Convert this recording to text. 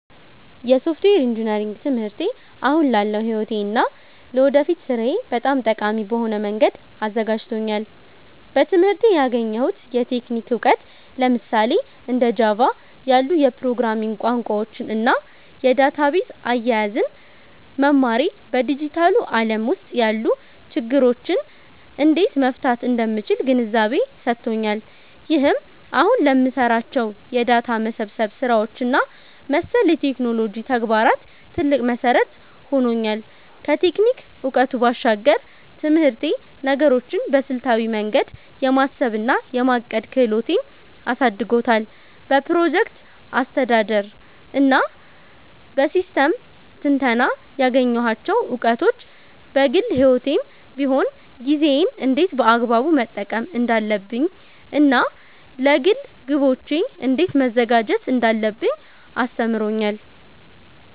የሶፍትዌር ኢንጂነሪንግ ትምህርቴ አሁን ላለው ሕይወቴ እና ለወደፊት ሥራዬ በጣም ጠቃሚ በሆነ መንገድ አዘጋጅቶኛል። በትምህርቴ ያገኘሁት የቴክኒክ እውቀት፣ ለምሳሌ እንደ ጃቫ (Java) ያሉ የፕሮግራሚንግ ቋንቋዎችን እና የዳታቤዝ አያያዝን መማሬ፣ በዲጂታሉ ዓለም ውስጥ ያሉ ችግሮችን እንዴት መፍታት እንደምችል ግንዛቤ ሰጥቶኛል። ይህም አሁን ለምሰራቸው የዳታ መሰብሰብ ስራዎች እና መሰል የቴክኖሎጂ ተግባራት ትልቅ መሠረት ሆኖኛል። ከቴክኒክ እውቀቱ ባሻገር፣ ትምህርቴ ነገሮችን በስልታዊ መንገድ የማሰብ እና የማቀድ ክህሎቴን አሳድጎታል። በፕሮጀክት አስተዳደር እና በሲስተም ትንተና ያገኘኋቸው እውቀቶች፣ በግል ሕይወቴም ቢሆን ጊዜዬን እንዴት በአግባቡ መጠቀም እንዳለብኝ እና ለግል ግቦቼ እንዴት መዘጋጀት እንዳለብኝ አስተምሮኛል።